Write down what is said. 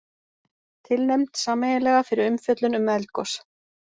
Tilnefnd sameiginlega fyrir umfjöllun um eldgos